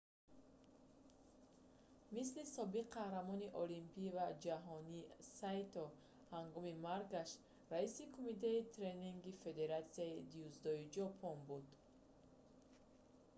мисли собиқ қаҳрамони олимпӣ ва ҷаҳонӣ сайто ҳангоми маргаш раиси кумитаи тренингии федератсияи дзюдои ҷопон буд